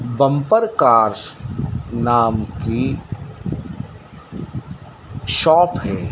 Bumper cars नाम की shop है।